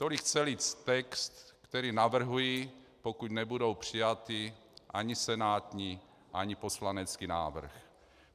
Tolik celý text, který navrhuji, pokud nebude přijat ani senátní ani poslanecký návrh.